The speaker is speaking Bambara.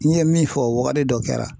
N ye min fɔ o wagati dɔ kɛra